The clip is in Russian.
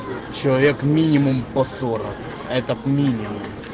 человек минимум по сорок этот минимум